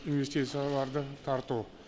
инвестицияларды тарту